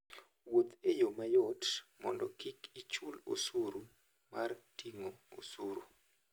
Wuoth e yo mayot mondo kik ichul osuru mar ting'o osuru.